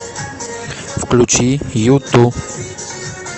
включи юту